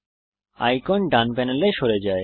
icon ডান প্যানেলে সরে যায়